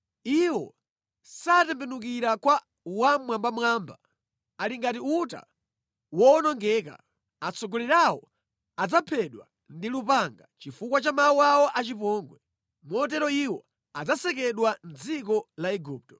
Iwo satembenukira kwa Wammwambamwamba; ali ngati uta woonongeka. Atsogoleri awo adzaphedwa ndi lupanga chifukwa cha mawu awo achipongwe. Motero iwo adzasekedwa mʼdziko la Igupto.